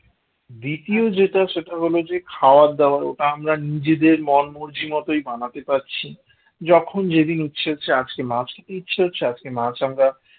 দ্বিতীয় যেটা সেটা হল খাবার দাবার ওটা আমরা নিজেদের মন মর্জি মতোই বানাতে পারছি যখন যেদিন ইচ্ছে হচ্ছে আজকে মাছ খেতে ইচ্ছে হচ্ছে আজকে মাছ আমরা